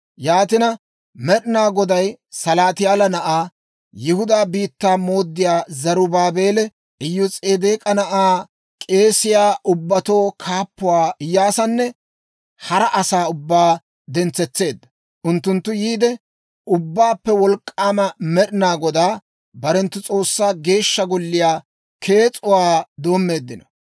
Yaatina, Med'inaa Goday Salaatiyaala na'aa, Yihudaa biittaa mooddiyaa Zarubaabeela, Iyos'edeek'a na'aa, k'eesiyaa ubbatuu kaappuwaa Iyyaasanne hara asaa ubbaa dentsetseedda; unttunttu yiide, Ubbaappe Wolk'k'aama Med'inaa Godaa, barenttu S'oossaa Geeshsha Golliyaa kees'uwaa doommeeddino.